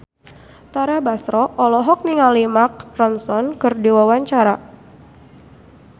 Tara Basro olohok ningali Mark Ronson keur diwawancara